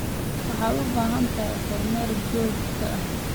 Waxaad u baahan tahay kormeer joogto ah.